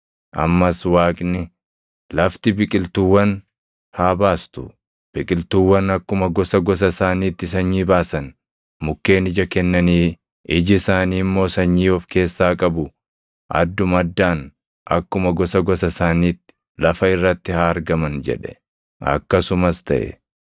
Ammas Waaqni, “Lafti biqiltuuwwan haa baastu; biqiltuuwwan akkuma gosa gosa isaaniitti sanyii baasan, mukkeen ija kennanii iji isaanii immoo sanyii of keessaa qabu adduma addaan akkuma gosa gosa isaaniitti lafa irratti haa argaman” jedhe. Akkasumas taʼe.